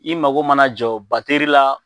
I mago mana jɔ bateri la